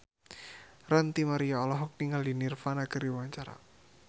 Ranty Maria olohok ningali Nirvana keur diwawancara